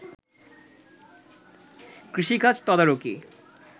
কৃষিকাজ তদারকি